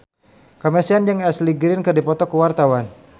Kamasean jeung Ashley Greene keur dipoto ku wartawan